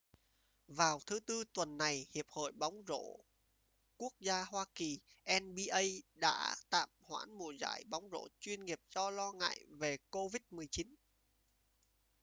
vào thứ tư tuần này hiệp hội bóng rổ quốc gia hoa kỳnba đã tạm hoãn mùa giải bóng rổ chuyên nghiệp do lo ngại về covid-19